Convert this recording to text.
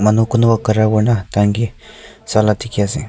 kun no kunno khara kori kina ase tanki ase vala dekhi ase.